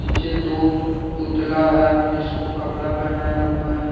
पीछे दो पुतला है जिसको कपड़ा पहनाया हुआ है।